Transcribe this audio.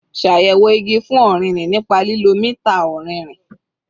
Ṣayẹwo igi fun ọririn nipa lilo mita ọrinrin